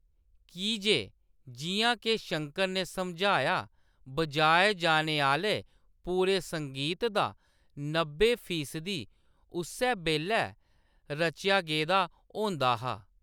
की जे, जिʼयां के शंकर ने समझाया, बजाए जाने आह्‌‌‌ले पूरे संगीत दा नब्बै फीसदी उस्सै बेल्लै रचेआ गेदा होंदा हा।